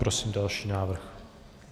Prosím další návrh.